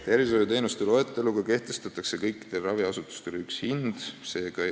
Tervishoiuteenuste loetelus on kõikidele raviasutustele kehtestatud üks hind.